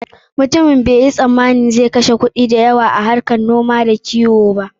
Mutumin bai yo sammanin zan kashe kuɗi da yawa a harkar noma da kiwo ba.